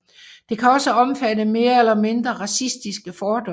Det kan også omfatte mere eller mindre racistiske fordomme